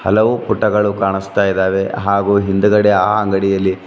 ಹಲವು ಪುಟಗಳು ಕಾಣಿಸ್ತಾ ಇದಾವೆ ಹಾಗೂ ಹಿಂದ್ಗಡೆ ಆ ಅಂಗಡಿಯಲ್ಲಿ--